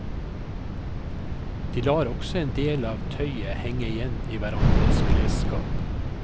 De lar også en del av tøyet henge igjen i hverandres klesskap.